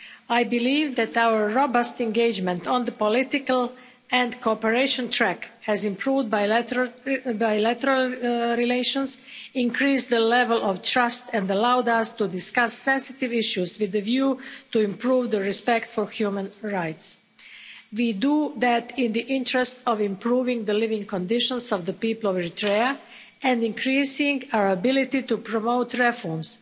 I believe that our robust engagement on the political and cooperation track has improved bilateral relations, increased the level of trust and allowed us to discuss sensitive issues with a view to improving respect for human rights. We do that in the interest of improving the living conditions of the people of Eritrea and increasing our ability to promote reforms.